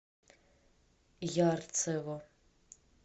ярцево